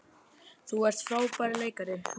Þú ert frábær leikari.